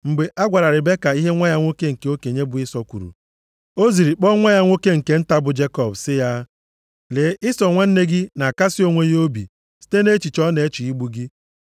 Mgbe a gwara Ribeka ihe nwa ya nwoke nke okenye bụ Ịsọ kwuru, o ziri kpọọ nwa ya nwoke nke nta bụ Jekọb sị ya, “Lee, Ịsọ nwanne gị na-akasị onwe ya obi site nʼechiche ọ na-eche igbu gị.